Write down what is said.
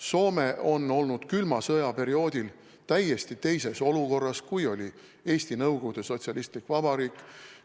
Soome oli külma sõja perioodil täiesti teises olukorras, kui oli Eesti Nõukogude Sotsialistlik Vabariik.